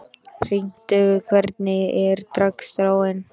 Hringur, hvernig er dagskráin?